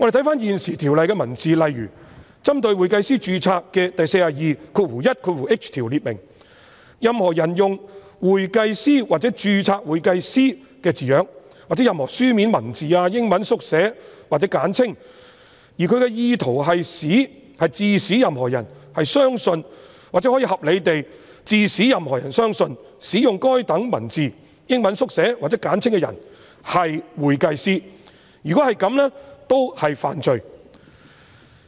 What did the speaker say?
翻閱現行《條例》的條文，例如針對會計師註冊的第 421h 條訂明：任何人用"'會計師'或'註冊會計師'的字樣，或任何書面文字、英文縮寫或簡稱，而其意圖是致使任何人相信或可合理地致使任何人相信使用該等文字、英文縮寫或簡稱的人為會計師"，如果這樣，均屬犯罪。